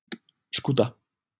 Skúta